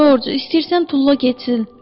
George, istəyirsən tulla getsin.